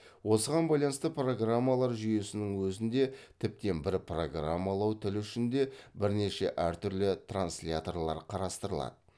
осыған байланысты программалау жүйесінің өзінде тіптен бір программалау тілі үшін де бірнеше әртүрлі трансляторлар қарастырылады